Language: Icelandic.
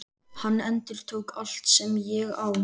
Hann endurtók: Allt sem ég á